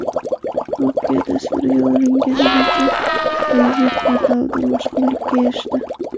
Voqea tasvirga olingan video Reddit portalida mashhurlikka erishdi .